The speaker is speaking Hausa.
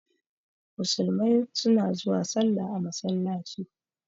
Musulmai suna zuwa salla a masallaci.